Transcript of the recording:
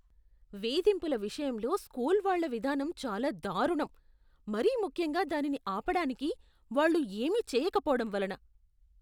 వేధింపుల విషయంలో స్కూల్ వాళ్ళ విధానం చాలా దారుణం, మరీ ముఖ్యంగా దానిని ఆపడానికి వాళ్ళు ఏమీ చేయకపోవడం వలన.